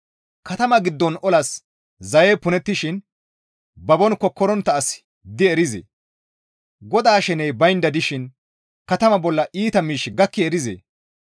Katama giddon olas zayey punettishin babon kokkorontta asi di erizee? GODAA sheney baynda dishin katama bolla iita miishshi gakki erizee?